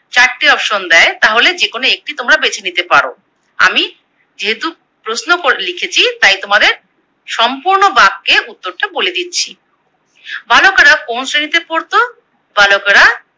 চারটে Option দেয় তাহলে যেকোনো একটি তোমরা বেছে নিতে পারো। আমি যেহেতু প্রশ্ন করে লিখেছি তাই তোমাদের সম্পূর্ণ বাক্যে উত্তরটা বলে দিচ্ছি। বালকেরা কোন শ্রেণীতে পড়তো? বালকেরা